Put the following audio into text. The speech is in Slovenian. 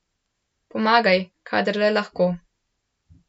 Pomagaj, kadar le lahko.